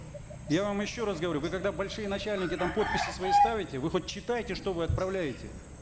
я вам еще раз говорю вы когда большие начальники там подписи свои ставите вы хоть читаете что вы отправляете